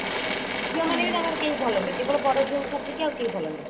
ଝିଅ ମାନେ ବି ତାଙ୍କର କେହି ଭଲ ନାହିଁ କେବଳ ବଡ ଝିଅକୁ ଛାଡି ଦେଇ ଆଉ କେହି ଭଲନାହିଁ